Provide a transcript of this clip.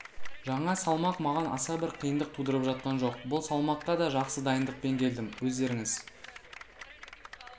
жаңа салмақ маған аса бір қиындық тудырып жатқан жоқ бұл салмаққа да жақсы дайындықпен келдім өздеріңіз